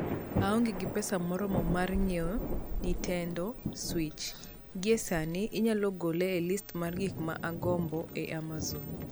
Aonge gi pesa moromo mar ng'iewo Nintendo Switch. Gie sani inyalo gole e list mar gik ma agombo e Amazon.